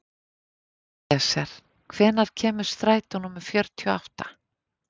Elíeser, hvenær kemur strætó númer fjörutíu og átta?